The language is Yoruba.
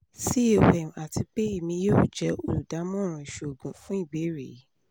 com ati pe emi yoo jẹ oludamọran iṣoogun fun ibeere yii